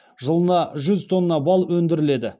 жылына жүз тонна бал өндіріледі